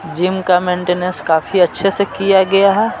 Gym का maintenance काफी अच्छे से किया गया है।